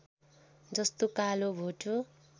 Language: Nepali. जस्तो कालो भोटो